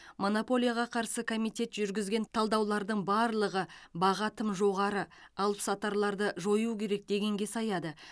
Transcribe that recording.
монополияға қарсы комитет жүргізген талдаулардың барлығы баға тым жоғары алыпсатарларды жою керек дегенге саяды